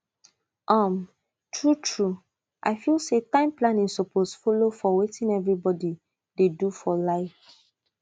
um truetrue i feel say time planning suppose follow for wetin everybody dey do for life